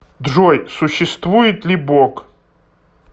джой существует ли бог